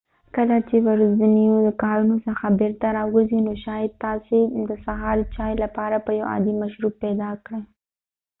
کله چې ورځنیو کارونو څخه بیرته راوګرځۍ نو شاید تاسې د سهار چای لپاره به یو عادی مشروب پیدا کړئ